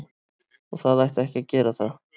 Og það ætti ekki að gera það.